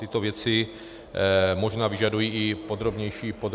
Tyto věci možná vyžadují i podrobnější náhled.